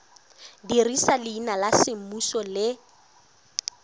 dirisa leina la semmuso le